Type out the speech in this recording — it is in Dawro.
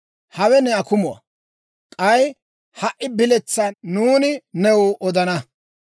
«Hawe ne akumuwaa; k'ay ha"i biletsaa nuuni new odana.